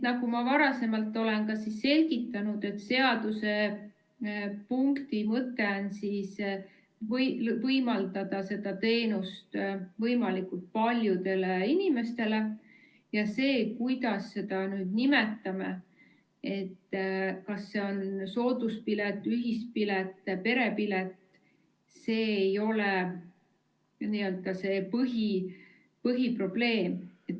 Nagu ma varem olen selgitanud, siis seadusepunkti mõte on võimaldada seda teenust võimalikult paljudele inimestele, ja see, kuidas seda nimetame – kas see on sooduspilet, ühispilet, perepilet –, see ei ole põhiprobleem.